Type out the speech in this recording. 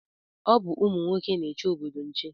Ọ bụ ụmụ nwoke na-eche obodo nche